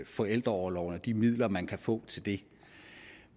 forældreorloven og de midler man kan få til det